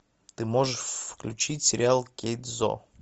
ты можешь включить сериал кэйдзо